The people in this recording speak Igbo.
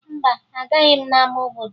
Mba, agaghị m n'ama obodo